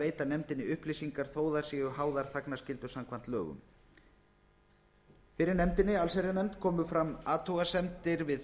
veita nefndinni upplýsingar þó að þær séu háðar þagnarskyldu samkvæmt lögum fyrir allsherjarnefnd komu fram athugasemdir við